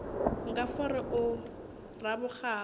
nka fo re o rabokgabo